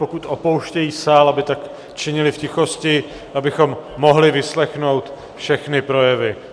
Pokud opouštějí sál, aby tak činili v tichosti, abychom mohli vyslechnout všechny projevy.